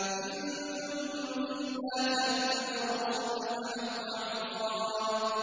إِن كُلٌّ إِلَّا كَذَّبَ الرُّسُلَ فَحَقَّ عِقَابِ